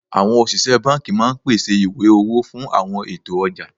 Àwọn òṣìṣẹ́ banki máa ń pèsè ìwé owó fún àwọn ètò ọjà